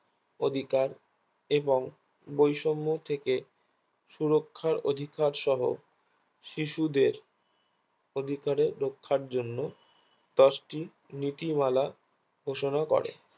অধিকার এবং বৈষম্য থেকে সুরক্ষার অধিকার সহ শিশুদের অধিকারের রাখার জন্য দশটি নীতিমালার ঘোষণা করে